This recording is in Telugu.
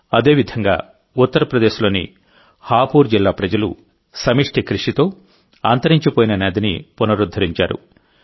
అదేవిధంగా ఉత్తరప్రదేశ్ లోని హాపూర్ జిల్లా ప్రజలు సమష్టి కృషితో అంతరించిపోయిన నదిని పునరుద్ధరించారు